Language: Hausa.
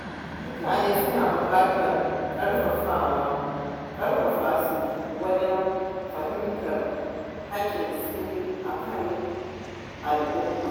Mutane su na buƙatar a ƙarfafa su wajen fahimtar haƙƙinsu a cikin al’umma.